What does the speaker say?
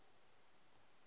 watervlak d w